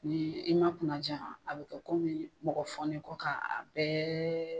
N'i i ma kunna ja a bɛ kɛ komi mɔgɔ fɔ n'i kɔ k'a bɛɛ